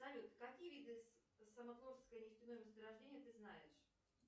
салют какие виды самотлорское нефтяное месторождение ты знаешь